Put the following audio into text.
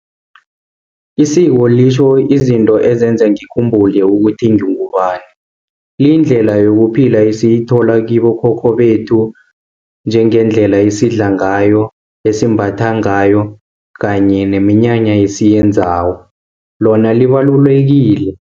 Isiko litjho izinto ezenza ngikhumbula ukuthi ngingubani. Liyindlela yokuphila esiyithola kibokhokho bethu njengendlela esidla ngayo, esimbatha ngayo, kanye neminyanya esiyenzako, lona libalulekile.